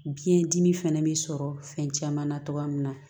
Biyɛn dimi fɛnɛ bɛ sɔrɔ fɛn caman na cogoya min na